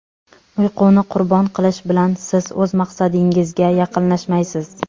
Uyquni qurbon qilish bilan siz o‘z maqsadingizga yaqinlashmaysiz.